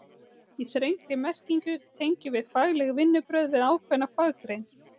Í þrengri merkingu tengjum við fagleg vinnubrögð við ákveðna faggrein.